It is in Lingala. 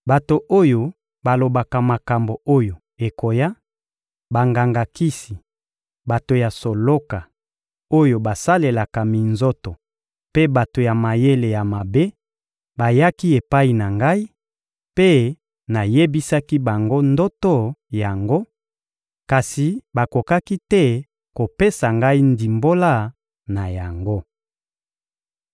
Bato oyo balobaka makambo oyo ekoya, banganga-kisi, bato ya soloka, oyo basalelaka minzoto mpe bato ya mayele ya mabe bayaki epai na ngai, mpe nayebisaki bango ndoto yango; kasi bakokaki te kopesa ngai ndimbola na yango.